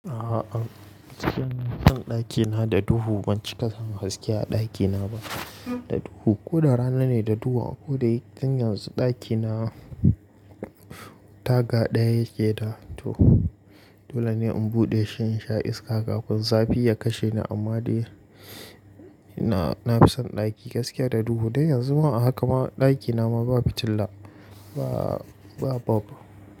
A'a, cikin ɗan ɗakina da duhu ban cika san gaskiya a ɗakina ba, da duhu. Ko da rana ne da duhu, ko da yin ganyen ɗakina ta ga ɗaya yake da to. Dole ne in buɗe shi in sha iska kafin zafi ya kashe ni, amma dai ina-ina fi son ɗaki gaskiya da duhu. Dai yanzu ma a haka ma ɗakina ma babu fitila, ba babu.